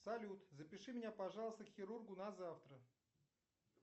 салют запиши меня пожалуйста к хирургу на завтра